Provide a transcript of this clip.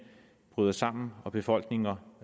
bryder sammen og befolkninger